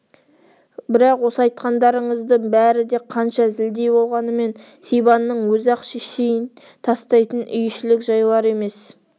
бірақ осы айтқандарыңыздың бәрі де қанша зілдей болғанымен сибанның өзі-ақ шешейін тастайтын үй ішілік жайлар емес